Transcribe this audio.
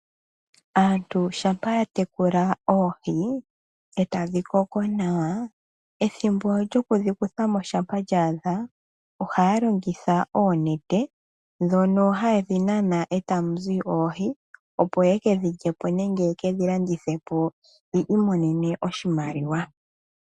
Aantu shampa yatekula oohi ee tadhi koko nawa ethimbo lyokudhikuthamo shampa lya adha ohaya longitha oonete dhoka hayedhi nana ee ta muzi oohi opo yekedhilyepo nenge yekedhilandithepo opo yi imonenemo oshimaliwa.